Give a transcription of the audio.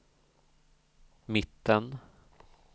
mitten